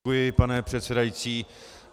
Děkuji, pane předsedající.